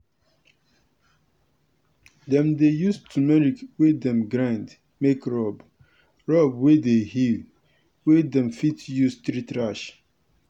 dem dey use turmeric wey dem grind make rub rub wey dey heal wey dem fit use treat rash.